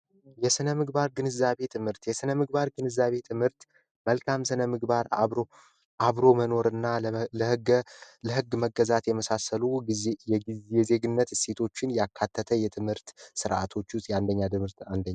የስነ ምግባር ግንዛቤ ትምህርት የስነ ምግባር ግንዛቤ ትምህርት መልካም ስነ ምግባር አብሮ መኖርና ለህገ መንግስት የመገዛት የመሳሰሉ የዜግነት እሴቶችን ያካተተ የትምህርት ሥርዓቶች ውስጥ የአንደኛ ደረጃ ትምህርት ነው።